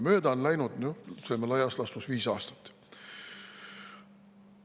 Mööda on läinud laias laastus viis aastat.